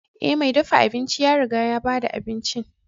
Ee, mai dafa abinci ya riga ya ba da abincin.